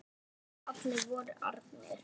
Þegar allir voru farnir.